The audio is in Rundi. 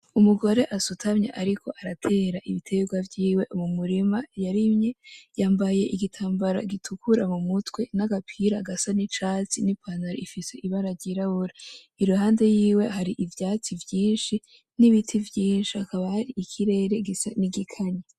Umugore asutamye ariko aratera ibiterwa vyiwe mu murima yarimye, yambaye igitambara gitukura mu mutwe n’agapira gasa n’icatsi ni pantaro ifise ibara ryirabura. Iruhande yiwe hari ivyatsi vyinshi n’ibiti vyinshi hakaba hari ikirere gisa n’igikanye.